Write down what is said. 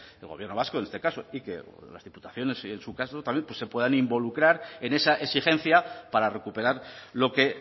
el gobierno vasco en este caso y que las diputaciones en su caso también se puedan involucrar en esa exigencia para recuperar lo que